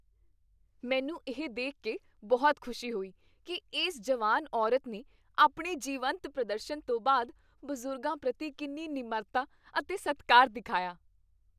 ਮੈਨੂੰ ਇਹ ਦੇਖ ਕੇ ਬਹੁਤ ਖੁਸ਼ੀ ਹੋਈ ਕਿ ਇਸ ਜਵਾਨ ਔਰਤ ਨੇ ਆਪਣੇ ਜੀਵੰਤ ਪ੍ਰਦਰਸ਼ਨ ਤੋਂ ਬਾਅਦ ਬਜ਼ੁਰਗਾਂ ਪ੍ਰਤੀ ਕਿੰਨੀ ਨਿਮਰਤਾ ਅਤੇ ਸਤਿਕਾਰ ਦਿਖਾਇਆ।